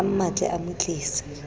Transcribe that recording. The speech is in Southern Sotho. a mmatle a mo tlise